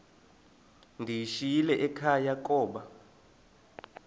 ndiyishiyile ekhaya koba